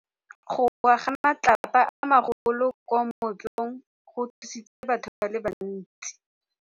Go wa ga matlapa a magolo ko moepong go tshositse batho ba le bantsi.